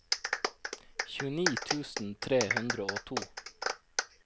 tjueni tusen tre hundre og to